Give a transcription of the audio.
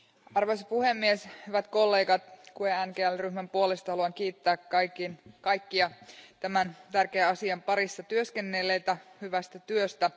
Arvoisa puhemies, hyvät kollegat, GUE NGL ryhmän puolesta haluan kiittää kaikkia tämän tärkeän asian parissa työskennelleitä hyvästä työstä.